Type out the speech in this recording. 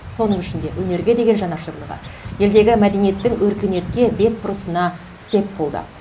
соның ішінде өнерге деген жанашырлығы елдегі мәдениеттің өркениетке бет бұрысына сеп болды